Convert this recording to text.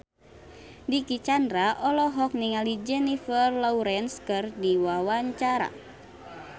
Dicky Chandra olohok ningali Jennifer Lawrence keur diwawancara